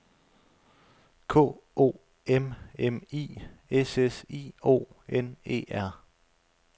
K O M M I S S I O N E R